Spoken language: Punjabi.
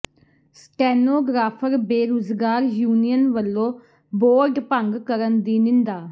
ਸਟੈਨੋਗ੍ਰਾਫ਼ਰ ਬੇਰੁਜ਼ਗਾਰ ਯੂਨੀਅਨ ਵਲੋਂ ਬੋਰਡ ਭੰਗ ਕਰਨ ਦੀ ਨਿੰਦਾ